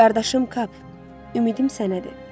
Qardaşım Kap, ümidim sənədir.